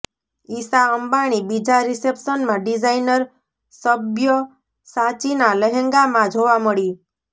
ઈશા અંબાણી બીજા રિસેપ્શનમાં ડિઝાઈનર સબ્યસાચીના લહેંગામાં જોવા મળી